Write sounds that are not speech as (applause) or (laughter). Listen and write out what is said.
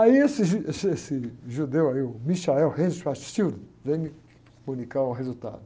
Aí esse, esse, esse judeu aí, o, (unintelligible) vem comunicar o resultado.